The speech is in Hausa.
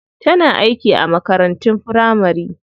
Tana aiki a makarantun firamari.